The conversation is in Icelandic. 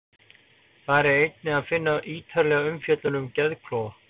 Þar er einnig að finna ítarlegri umfjöllun um geðklofa.